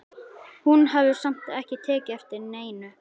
Hún hafði samt ekki tekið eftir neinu.